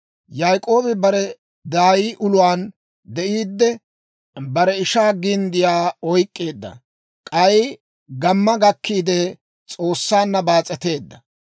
Yaak'oobi bare daay uluwaan de'iidde, bare ishaa ginddiyaa oyk'k'eedda. K'ay gamma gakkiide, S'oossaanna baas'eteedda;